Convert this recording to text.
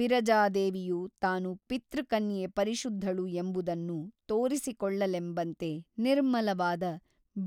ವಿರಜಾದೇವಿಯು ತಾನು ಪಿತೃಕನ್ಯೆ ಪರಿಶುದ್ಧಳು ಎಂಬುದನ್ನು ತೋರಿಸಿಕೊಳ್ಳಲೆಂಬಂತೆ ನಿರ್ಮಲವಾದ